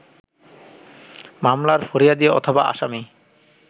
মামলার ফরিয়াদি/আসামি